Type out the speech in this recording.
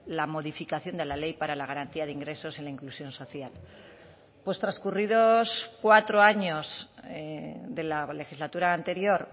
la modificación de la ley para la garantía de ingresos y la inclusión social pues transcurridos cuatro años de la legislatura anterior